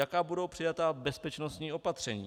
Jaká budou přijata bezpečnostní opatření?